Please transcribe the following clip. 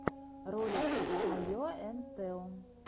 ролик айо энд тео